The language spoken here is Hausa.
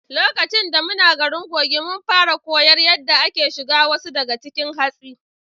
Lokaci da muna garin Kogi, mun fara koyar yadda ake shuga wasu daga cikin hatsi.